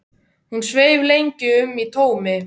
Hún sveif lengi um í tómi.